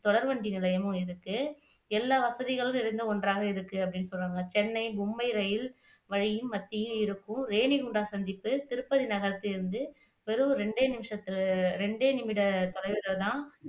தொடர்வண்டி நிலையமும் இருக்கு எல்லா வசதிகளும் இரண்டும் ஒன்றாக இருக்கு அப்படின்னு சொல்றமாதிரி சென்னை, மும்பை ரயில் வழியில் மத்தியில் இருக்கும் ரேணிகுண்டா சந்திப்பு, திருப்பதி நகர் பேருந்து வெறும் ரெண்டே நிமிட தொலைவுலதான்